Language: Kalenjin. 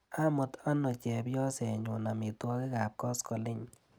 Amut ano chepyosenyu amitwogikap koskoliny.